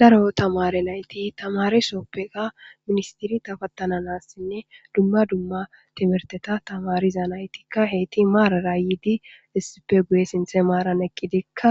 daro tamare nayti tamare soppeka ministiri tafattananassinne dumma dumma timerteta tamariza naytikka heyti maarara yiidi issippe guye sinthe maaran eqqidikka